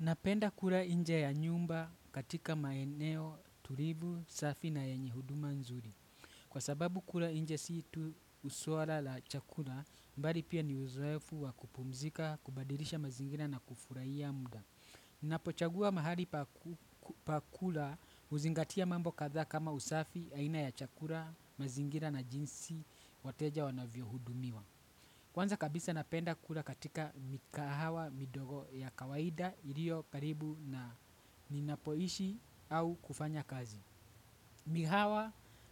Napenda kula inje ya nyumba katika maeneo, tulivu, safi na yenye huduma nzuri. Kwa sababu kula inje si tu usuwala la chakula, mbali pia ni uzoefu wa kupumzika, kubadirisha mazingira na kufurahia muda. Napochagua mahali pa kula huzingatia mambo kadhaa kama usafi aina ya chakula mazingira na jinsi wateja wanavyo hudumiwa. Kwanza kabisa napenda kula katika mikahawa midogo ya kawaida ilio karibu na ninapoishi au kufanya kazi.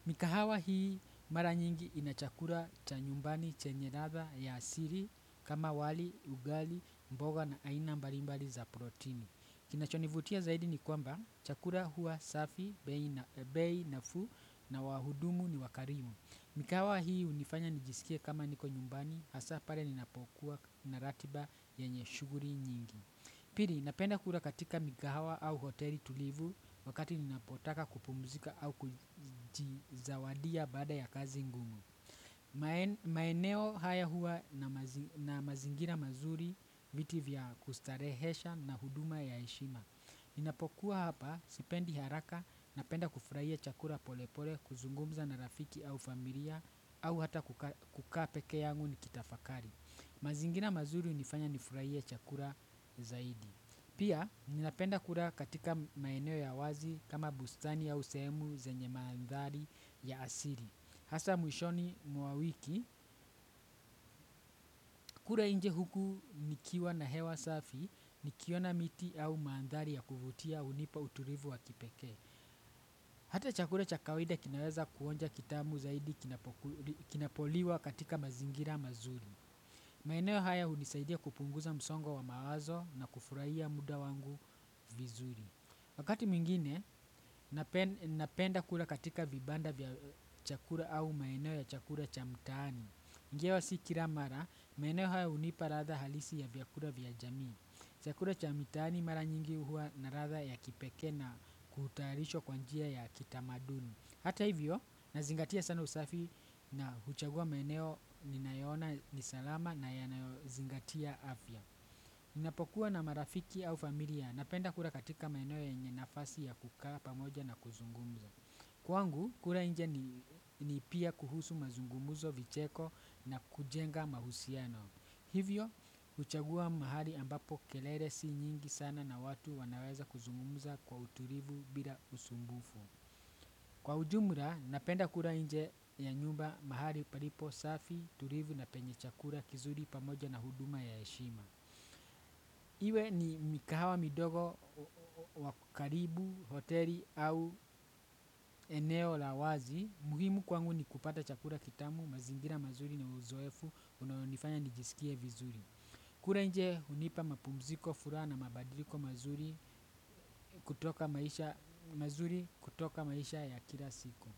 Mikahawa hii mara nyingi inachakura chanyumbani chenye radha ya asiri kama wali, ugali, mboga na ainambarimbali za protini. Kinacho nivutia zaidi ni kwamba chakula huwa safi bei nafuu na wahudumu ni wakarimu mikahawa hii hunifanya nijiskie kama niko nyumbani hasa pale ninapokuwa na ratiba yenye shughuli nyingi. Piri, napenda kura katika mikahawa au hoteli tulivu wakati ninapotaka kupumzika au kujizawadia baada ya kazi ngumu. Maeneo haya hua na mazingira mazuri, viti vya kustarehesha na huduma ya heshima. Ninapokuwa hapa sipendi haraka na penda kufrahia chakura polepole kuzungumza na rafiki au familia au hata kukaa peke yangu nikitafakari. Mazingina mazuri hunifanya nifurahie chakula zaidi. Pia ninapenda kura katika maeneo ya wazi kama bustani au sehemu zenye maandhali ya asili. Hasa mwishoni mwa wiki, kula nje huku nikiwa na hewa safi, nikiona miti au maandhali ya kuvutia hunipa utulivu wa kipekee. Hata chakura cha kawida kinaweza kuonja kitamu zaidi kinapoliwa katika mazingira mazuri. Maeneo haya hunisaidia kupunguza msongo wa mawazo na kufurahia muda wangu vizuri. Wakati mwingine, napenda kula katika vibanda vya chakura au maeneo ya chakura cha mtaani. Ingawa si kira mara, maeneo haya hunipa ratha halisi ya vyakura vya jamii. Chakura cha mitaani mara nyingi hua na ratha ya kipekee na kuhutarishwa kwa njia ya kitamaduni. Hata hivyo, nazingatia sana usafi na huchagua maeneo ninayoona nisalama na yanayozingatia afya. Ninapokuwa na marafiki au familia, napenda kura katika maeneo yenye nafasi ya kukaa pamoja na kuzungumza. Kwangu, kura nje ni pia kuhusu mazungumuzo vicheko na kujenga mahusiano. Hivyo, huchagua mahali ambapo kelele si nyingi sana na watu wanaweza kuzungumuza kwa utulivu bila usumbufu. Kwa ujumra, napenda kura nje ya nyumba mahali paripo safi, turivu na penye chakura kizuri pamoja na huduma ya heshima. Iwe ni mikahawa midogo wa karibu hoteli au eneo la wazi muhimu kwangu ni kupata chakura kitamu, mazingira mazuri na uzoefu, unaonifanya nijisikie vizuri. Kura nje hunipa mapumziko furaha na mabadiliko mazuri kutoka maisha ya kila siku.